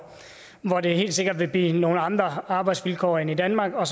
det helt sikkert vil blive nogle andre arbejdsvilkår end i danmark og